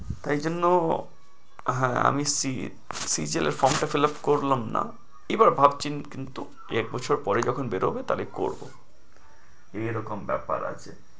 তাই জন্য হ্যাঁ আমি CGL এর form টা fillup করলাম না। এবার ভাবছি কিন্তু দুই-এক বছরে পরেই যখন বের হবে তাইলে করবো, এ রকম ব্যাপার আছে।